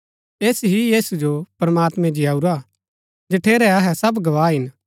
ऐस ही यीशु जो प्रमात्मैं जिआऊरा जठेरै अहै सब गवाह हिन